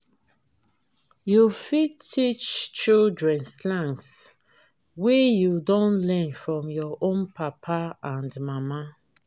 you fit teach children slangs wey you don learn from your own papa and mama